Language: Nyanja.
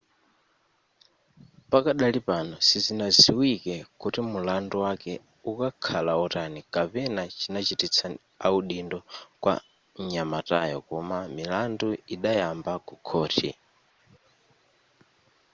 pakadali pano sizinaziwike kuti mulandu wake ukakhala otani kapena chinachitisa audindo kwa nyamatayo koma milandu idayamba ku khohi